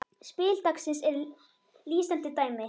Spil dagsins er lýsandi dæmi.